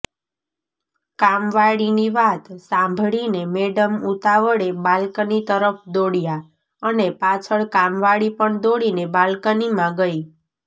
કામવાળીની વાત સાંભળીને મેડમ ઉતાવળે બાલ્કની તરફ દોડ્યા અને પાછળ કામવાળી પણ દોડીને બાલ્કનીમાં ગઇ